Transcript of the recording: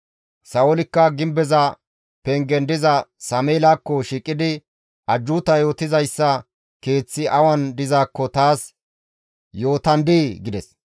Sa7oolikka gimbeza pengen diza Sameelakko shiiqidi, «Ajjuuta yootizayssa keeththi awan dizaakko taas yootandii?» gides.